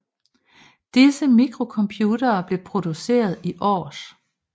Disse mikrocomputere blev produceret i Års